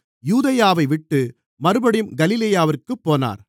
யூதேயாவைவிட்டு மறுபடியும் கலிலேயாவிற்குப் போனார்